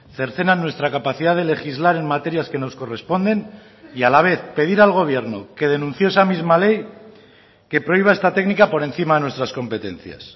cercenan nuestra capacidad de legislar en materias que nos corresponden y a la vez pedir al gobierno que denunció esa misma ley que prohíba esta técnica por encima de nuestras competencias